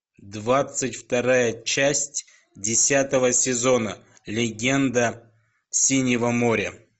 двадцать вторая часть десятого сезона легенда синего моря